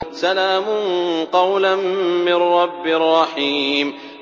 سَلَامٌ قَوْلًا مِّن رَّبٍّ رَّحِيمٍ